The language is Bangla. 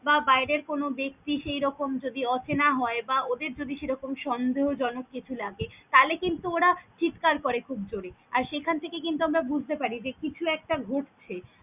বা বাইরের কোনও বেক্তি সেই রকম যদি অচেনা হয় বা ওদের যদি সেরকম সন্দেহ জনক কিছু লাগে তালে কিন্তু ওরা চিৎকার করে খুব জোরে আর সেখান থেকে কিন্তু আমরা বুজতে পারি যে কিছু একটা ঘটছে।